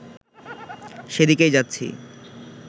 সেদিকেই যাচ্ছি